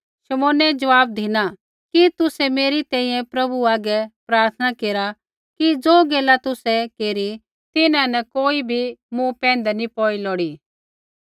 शमौनै ज़वाब धिना कि तुसै मेरी तैंईंयैं प्रभु आगै प्रार्थना केरा कि ज़ो गैला तुसै केरी तिन्हां न कोई बी मूँ पैंधै नी लोड़ी पौई